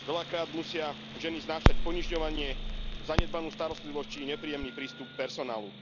Veľakrát musia ženy znášať ponižovanie, zanedbanú starostlivosť, či nepríjemný prístup personálu.